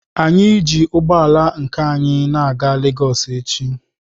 Anyị ji ụgbọ ala nke anyi na-aga Legọs echi.